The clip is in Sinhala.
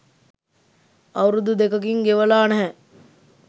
අවුරුදු දෙකකින් ගෙවලා නැහැ.